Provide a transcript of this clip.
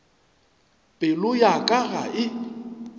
pelo ya ka ga e